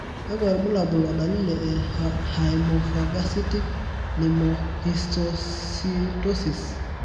kakwa irbulabol o dalili e Haemophagocytic lymphohistiocytosis?